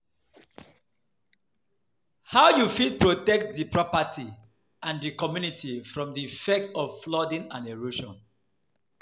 how you fit protect di property and di communitty from di effects of flooding and erosion?